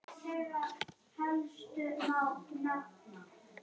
Guð fylgi henni.